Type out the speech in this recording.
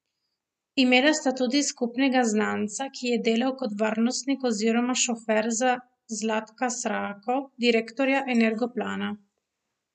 Imela sta tudi skupnega znanca, ki je delal kot varnostnik oziroma šofer za Zlatka Srako, direktorja Energoplana.